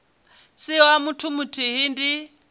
si wa muthu muthihi ndi